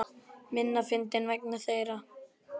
Minna fyndinn vegna þeirra.